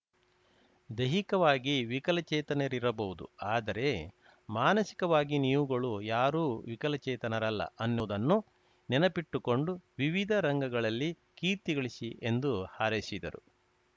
ದೈಹಿಕವಾಗಿ ವಿಕಲಚೇತನರಿರಬಹುದು ಆದರೆ ಮಾನಸಿಕವಾಗಿ ನೀವುಗಳು ಯಾರು ವಿಕಲಚೇತನರಲ್ಲ ಅನ್ನುವುದನ್ನು ನೆನಪಿಟ್ಟುಕೊಂಡು ವಿವಿಧ ರಂಗಗಳಲ್ಲಿ ಕೀರ್ತಿಗಳಿಸಿ ಎಂದು ಹಾರೈಸಿದರು